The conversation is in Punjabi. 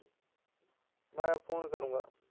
ਮੈਂ phone ਕਰੂੰਗਾ।